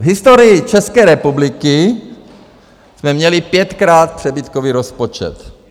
V historii České republiky jsme měli pětkrát přebytkový rozpočet.